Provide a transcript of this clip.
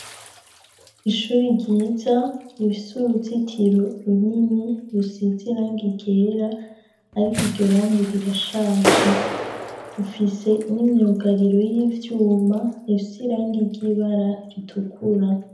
Ishuri ryiza rifise uruzitiro runini rusize irangi ryera ariko iryorangi rirashaje rufise n'imyugariro y'ivyuma isize irangi ry'ibara ritukura.